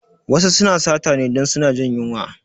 Wasu suna sata ne dun suna jin yunwa